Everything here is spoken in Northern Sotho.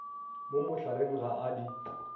mo mohlareng ga a di